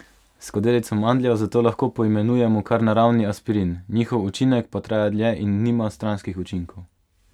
Skodelico mandljev zato lahko poimenujemo kar naravni aspirin, njihov učinek pa traja dlje in nima stranskih učinkov.